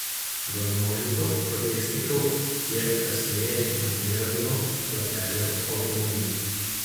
V množico protestnikov je kasneje namerno zapeljal avtomobil.